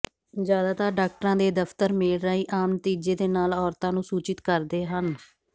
ਜ਼ਿਆਦਾਤਰ ਡਾਕਟਰਾਂ ਦੇ ਦਫ਼ਤਰ ਮੇਲ ਰਾਹੀਂ ਆਮ ਨਤੀਜੇ ਦੇ ਨਾਲ ਔਰਤਾਂ ਨੂੰ ਸੂਚਿਤ ਕਰਦੇ ਹਨ